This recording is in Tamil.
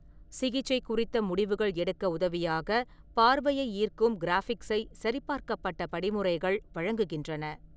சிகிச்சை குறித்த முடிவுகள் எடுக்க உதவியாகப் பார்வையை ஈர்க்கும் கிராஃபிக்சை சரிபார்க்கப்பட்ட படிமுறைகள் வழங்குகின்றன.